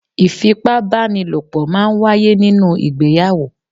Ìfipá bá ni lò pọ̀ máa ń wáyé nínú ìgbéyàwó.